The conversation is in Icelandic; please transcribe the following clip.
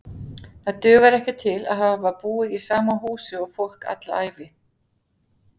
Það dugar ekki til að hafa búið í sama húsi og fólk alla ævi.